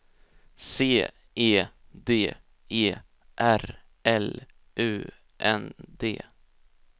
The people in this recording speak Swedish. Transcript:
C E D E R L U N D